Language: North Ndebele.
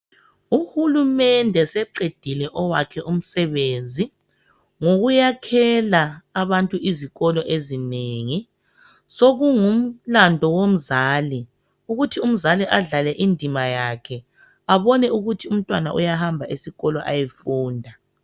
Uhulumende seqedile owakhe umsebenzi ngokuyakhela abantu izikolo ezinengi sokungumlandu womzali ukuthi umzali adlale indima yakhe abone ukuthi umntwana uyahamba esikolo ayefunda.